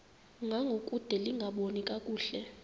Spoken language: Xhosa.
ngangokude lingaboni kakuhle